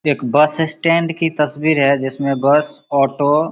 एक bus stand की तस्वीर है जिसमें बस ऑटो --